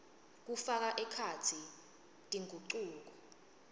kufaka ekhatsi tingucuko